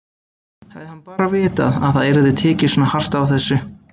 Hefði hann bara vitað að það yrði tekið svona hart á þessu!